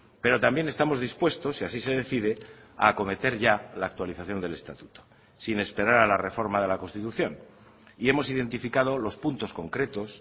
pero también estamos dispuestos si así se decide a acometer ya la actualización del estatuto sin esperar a la reforma de la constitución y hemos identificado los puntos concretos